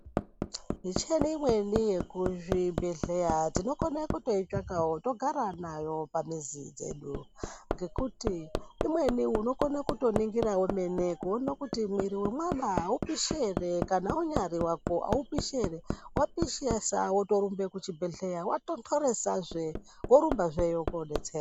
Micheni imweni yekuzvibhedhleya tinofana kutoitsvakawo togarawo nayo pamuzi dzedu ngekuti imweni unokone kutoningira wemene kuone kuti mwiri wemwana aupishi ere Kana unyari wako aupishi ere wapishesa wotorumbe kuchibhedleya Watontoresazve worumbazveyo kodetserwa.